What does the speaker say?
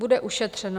Bude ušetřeno.